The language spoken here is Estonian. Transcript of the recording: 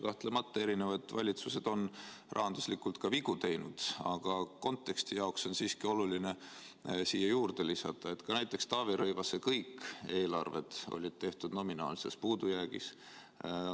Kahtlemata, erinevad valitsused on rahanduslikult ka vigu teinud, aga konteksti jaoks on siiski oluline siia juurde lisada, et ka näiteks Taavi Rõivase kõik eelarved olid tehtud nominaalses puudujäägis.